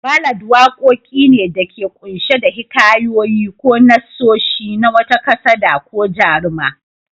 Ballad waqoqi ne da ke qunshe da hikayoyi ko nassoshi na wata kasada ko jaruma.